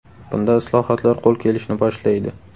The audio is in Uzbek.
Bunda islohotlar qo‘l kelishni boshlaydi.